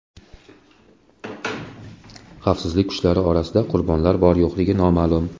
Xavfsizlik kuchlari orasida qurbonlar bor-yo‘qligi noma’lum.